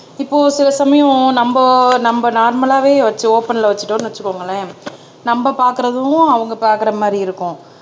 இப்போ சில சமயம் நம்ம நம்ம நார்மலாவே வச்சு ஓபன்ல வச்சுட்டோம்ன்னு வச்சுக்கோங்களேன் நம்ம பாக்குறதும் அவங்க பாக்குற மாரி இருக்கும்